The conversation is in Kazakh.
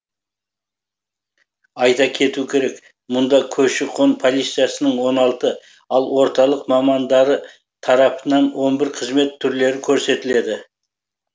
айта кету керек мұнда көші қон полициясының он алты ал орталық мамандары тарапынан он бір қызмет түрлері көрсетіледі